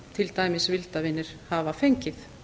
til dæmis vildarvinir hafa fengið